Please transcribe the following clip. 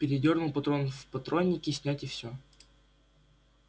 передёрнул патрон в патроннике снять и всё